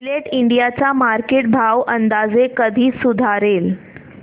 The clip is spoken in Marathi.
जिलेट इंडिया चा मार्केट भाव अंदाजे कधी सुधारेल